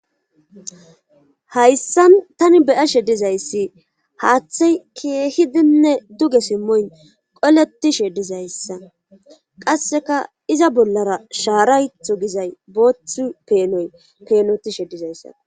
Hayssan tani beyashe dizayssi haaththey keehidinne duge simmoy qoletishe dizayssa qasseka iza bollara shaaraytho gizay boothi peenoy peenotishe dizayssa.